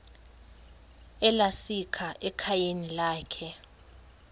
esalika ekhayeni lakhe